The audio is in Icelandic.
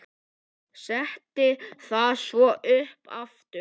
Setti það svo upp aftur.